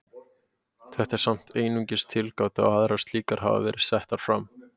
Þetta er samt einungis tilgáta og aðrar slíkar hafa verið settar fram.